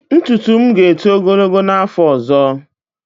Ntutu m ga-eto ogologo n'afọ ọzọ.